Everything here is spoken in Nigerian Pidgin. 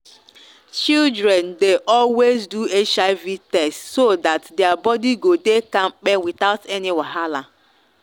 children dey always do hiv test so that their body go dey kampe without any wahala.